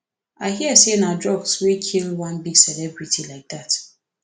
i hear say na drugs wey kill one big celebrity like dat